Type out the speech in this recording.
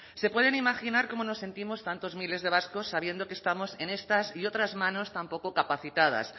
se pueden imaginar cómo nos sentimos tantos miles de vascos sabiendo que estamos en estas y otras manos tan poco capacitadas